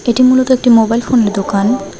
এটি মূলত একটি মোবাইল ফোনের দোকান।